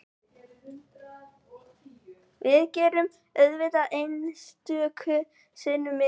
Við gerum auðvitað einstöku sinnum mistök